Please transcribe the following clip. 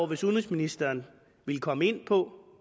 hvis udenrigsministeren vil komme ind på